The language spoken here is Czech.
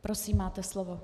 Prosím, máte slovo.